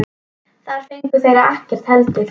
Þar fengu þeir ekkert heldur.